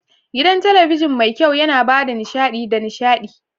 Gidan talabijin mai kyau yana ba da nishaɗi da nishaɗi.